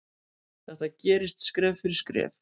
Þetta gerist skref fyrir skref.